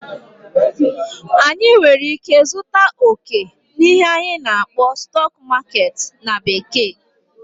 anyị nwere ike zụta okè n'ihe anyị na-akpọ "stock market" na bekee